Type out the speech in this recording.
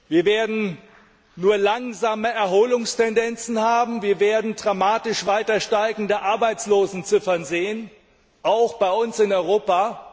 Wir werden nur langsame Erholungstendenzen haben, wir werden dramatisch weiter steigende Arbeitslosenziffern sehen, auch bei uns in Europa.